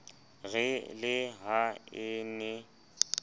re le ha e ne